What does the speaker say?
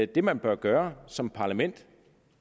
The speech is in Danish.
det man bør gøre som parlament